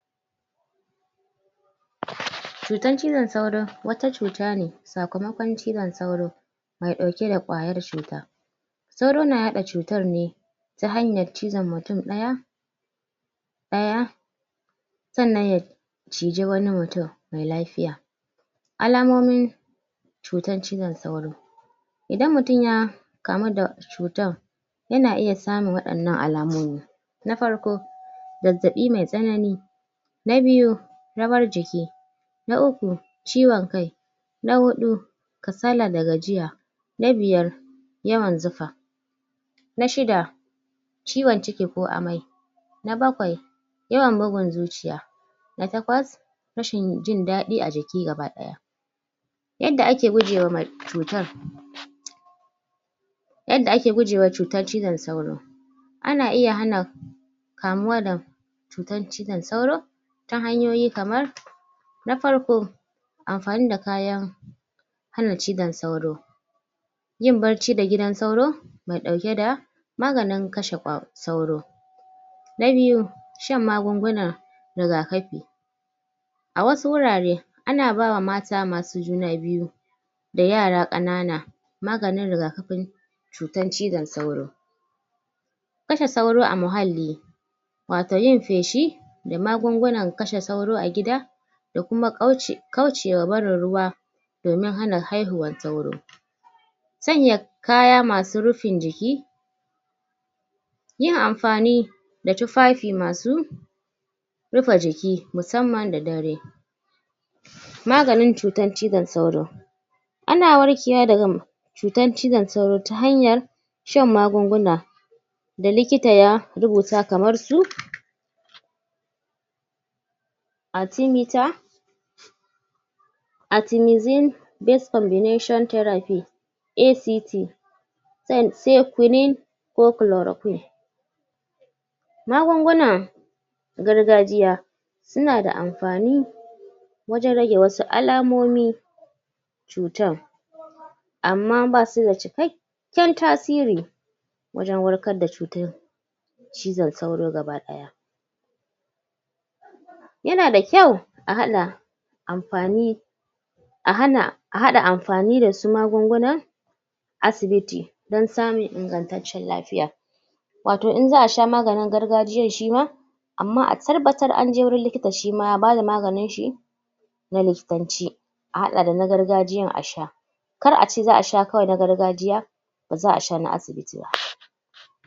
Cutan ciwon sauro wata cuta ne sakamakon cizan sauro mai dauke da kwayar cuta sauro na hada cutan ne ta hanyar cizon mutum daya daya tsannan ya, cije wani mutum mai lafiya alamomin cutan cizan sauro idan mutum ya kamar da cutan ya na iya samun wadannan alamomi na farko zazzabi mai tsanani na biyu, ramar jiki na uku, ciwon kai na hudu kasalla da gajiya, na biyar yawan zufa na shidda ciwon ciki ko amai na bakwai ya bugun zuciya na takwas rashin yi jindadi a jiki gabadaya. Yadda ake guje ma cutar yanda ake guje wa cutar cizan sauro a na iya hana kamuwa da cutan cizan sauro ta hanyoyi kamar na farko amfani da kayan hana cizan sauro yin bacci da gidan sauro ba dauke da maganin kashe kwa sauro na biyu, shan magunguna rigakafi a wasu wurare a na bawa mata ma su juna biyu da yara kanana maganin rigakafin cutan cizan sauro. Kashe sauro a muhalli wato yin feshi da magungunan kashe sauro a gida da kuma kauce kaucewa barin ruwa domin hana haihuwar sauro sanya kaya masu rufin jiki yi na amfani da tufafi ma su rufa jiki musamman da dare maganin cutan cizan sauro a na warkewa da ga cutan cizan sauro ta hanyar shan magunguna da likita ya rubuta kamar su arthimiter artimizine, best combination therapy ACT san sai quinine, ko chloroquin. Magungunan gargajiyya su na da amfani wajen rage wassu alamomi cutan amma ba su da cikekiyyar tasiri wajen warkar da cutan cizan sauro gabadaya ya na da kyau, a hada amfani a hana, a hada amfani da su magunguna asibiti, dan samun ingantacciyar lafiya wato in zaa sha maganin gargajiyyan shi ma amma a tarbattar an je wurin likitar shi ma ya ba da maganin shi na liftancin a hada da na gargajjiyan a sha kar a ce zaa sha kawai na gargajiyya ba zaa sha na asibiti ba.